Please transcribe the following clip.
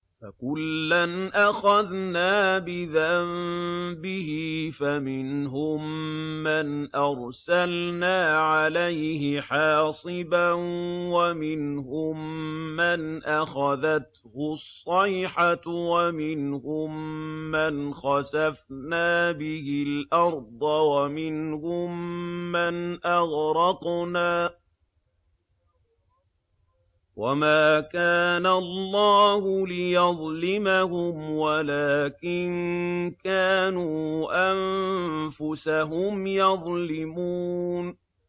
فَكُلًّا أَخَذْنَا بِذَنبِهِ ۖ فَمِنْهُم مَّنْ أَرْسَلْنَا عَلَيْهِ حَاصِبًا وَمِنْهُم مَّنْ أَخَذَتْهُ الصَّيْحَةُ وَمِنْهُم مَّنْ خَسَفْنَا بِهِ الْأَرْضَ وَمِنْهُم مَّنْ أَغْرَقْنَا ۚ وَمَا كَانَ اللَّهُ لِيَظْلِمَهُمْ وَلَٰكِن كَانُوا أَنفُسَهُمْ يَظْلِمُونَ